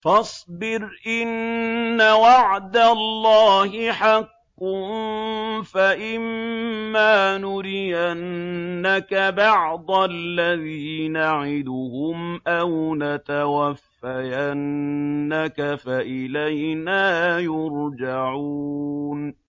فَاصْبِرْ إِنَّ وَعْدَ اللَّهِ حَقٌّ ۚ فَإِمَّا نُرِيَنَّكَ بَعْضَ الَّذِي نَعِدُهُمْ أَوْ نَتَوَفَّيَنَّكَ فَإِلَيْنَا يُرْجَعُونَ